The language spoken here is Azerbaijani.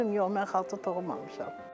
Deyirdim yox, mən xalça toxumamışam.